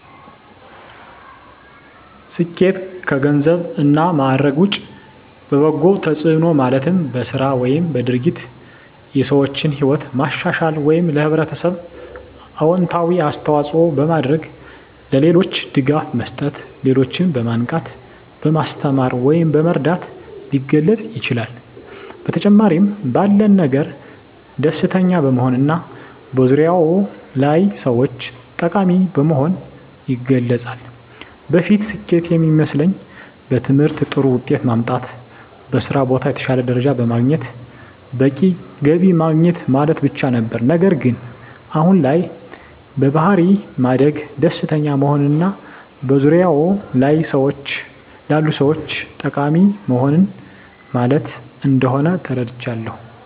ስኬት ከገንዘብ እና ማዕረግ ውጭ በበጎ ተጽዕኖ ማለትም በሥራ ወይም በድርጊት የሰዎችን ሕይወት ማሻሻል ወይም ለኅብረተሰብ አዎንታዊ አስተዋፅዖ በማድረግ፣ ለሌሎች ድጋፍ መስጠት፣ ሌሎችን በማንቃት፣ በማስተማር ወይም በመርዳት ሊገለፅ ይችላል። በተጨማሪም ባለን ነገር ደስተኛ በመሆንና በዙሪያዎ ላሉ ሰዎች ጠቃሚ በመሆን ይገለፃል። በፊት ስኬት የሚመስለኝ በትምህርት ጥሩ ውጤት ማምጣት፣ በስራ ቦታ የተሻለ ደረጃ በማግኘት በቂ ገቢ ማግኘት ማለት ብቻ ነበር። ነገር ግን አሁን ላይ በባሕሪ ማደግ፣ ደስተኛ መሆንና በዙሪያዎ ላሉ ሰዎች ጠቃሚ መሆን ማለት እንደሆን ተረድቻለሁ።